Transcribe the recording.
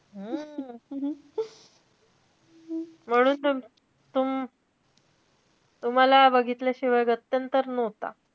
हम्म म्हणून तर तुम~ तुम्हाला बघितल्याशिवाय गत्यंतर नव्हता.